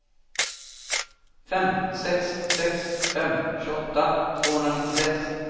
fem sex sex fem tjugoåtta tvåhundranittiosex